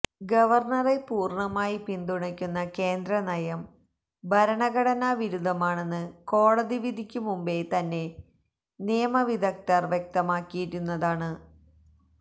ഗവര്ണറെ പൂര്ണമായി പിന്തുണക്കുന്ന കേന്ദ്ര നയം ഭരണഘടനാവിരുദ്ധമാണെന്ന് കോടതി വിധിക്കു മുമ്പേ തന്നെ നിയമവിദഗ്ധര് വ്യക്തമാക്കിയിരുന്നതാണ്